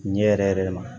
Ɲɛ yɛrɛ yɛrɛ ma